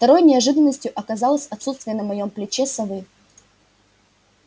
второй неожиданностью оказалось отсутствие на моём плече совы